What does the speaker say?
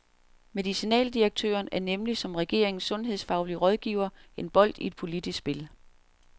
Medicinaldirektøren er nemlig som regeringens sundhedsfaglige rådgiver en bold i et politisk spil.